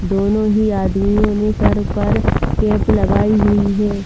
दोनो ही आदमियों ने सर पर कैप लगाई हुई हे ।